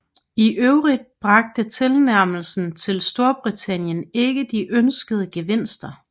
I øvrigt bragte tilnærmelsen til Storbritannien ikke de ønskede gevinster